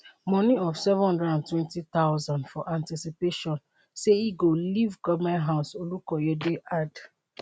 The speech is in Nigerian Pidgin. moni of seven hundred and twenty thousand for anticipation say e go leave goment house olukoyede add